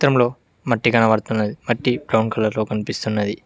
చిత్రం లో మట్టి కనబడుతున్నది మట్టి బ్రౌన్ కలర్ లో కనిపిస్తున్నది.